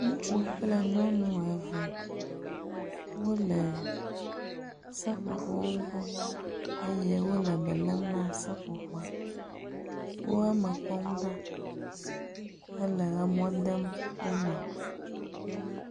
Ŋutsu kple nyɔnu eve wo le seƒoƒowo gbɔ eye wo le be lé m na seƒoƒoa. Wo eme kpɔm ɖa hele emɔ dem wo me.